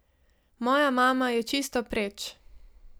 Moja mama je čisto preč.